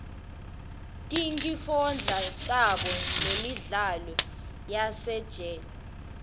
tinkifondla tabo nemidlalo yasesitej